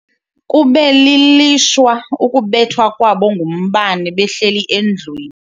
Kube lilishwa ukubethwa kwabo ngumbane behleli endlwini.